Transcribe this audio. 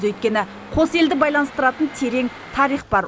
өйткені қос елді байланыстыратын терең тарих бар